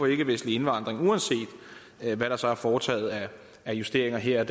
ikkevestlig indvandring uanset hvad der så er foretaget af justeringer her